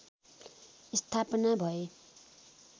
स्थापना भए